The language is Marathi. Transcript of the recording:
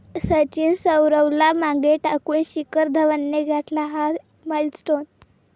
सचिन, सौरवला मागे टाकून शिखर धवनने गाठला 'हा' माईलस्टोन